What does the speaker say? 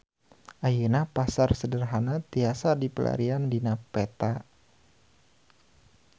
Ayeuna Pasar Sederhana tiasa dipilarian dina peta